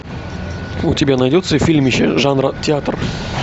у тебя найдется фильмище жанра театр